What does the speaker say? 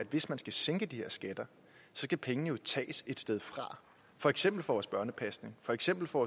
hvis man skal sænke de her skatter så skal pengene jo tages et sted fra for eksempel fra vores børnepasning for eksempel fra